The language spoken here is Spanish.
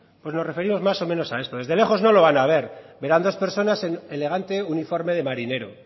pues nos referimos más o menos a esto desde lejos no lo van a ver verán dos personas en elegante uniforme de marinero